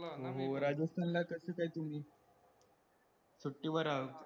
होऊ राजस्थान ला कशे काय तुम्ही, सुट्टीवर